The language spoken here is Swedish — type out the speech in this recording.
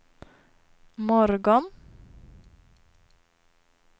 morgon